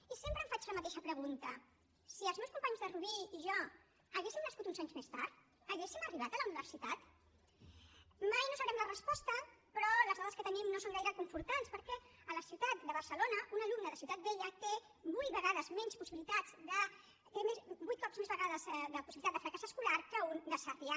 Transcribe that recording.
i sempre em faig la mateixa pregunta si els meus companys de rubí i jo haguéssim nascut uns anys més tard hauríem arribat a la universitat mai no en sabrem la resposta però les dades que tenim no són gaire reconfortants perquè a la ciutat de barcelona un alumne de ciutat vella té vuit cops més vegades de possibilitat de fracàs escolar que un de sarrià